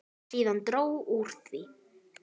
Síðan dró úr því.